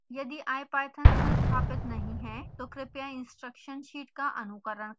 यदि ipython संस्थापित नहीं है तो कृपया instruction sheet का अनुकरण करें